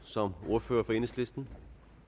som ordfører for enhedslisten